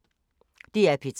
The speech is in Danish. DR P3